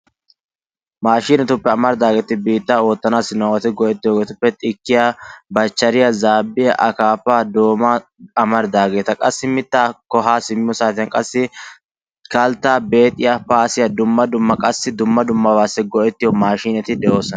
Maashineetuppe amaridaagetti biittaa oottanasi nu awaati go"ettiyoogetuppe xikkiyaa bachachariyaa zaabbiyaa akaapaa doomaa amaridageta qassi mittaako haa simmiyoo saatiyaan kalttaa beexxiyaa paassiyaa dumma dumma qassi dumma duumabassi go"ettiyoo maashineeti de'oosona.